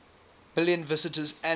million visitors annually